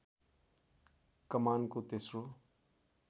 कमानको तेस्रो